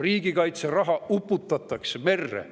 Riigikaitse raha uputatakse merre.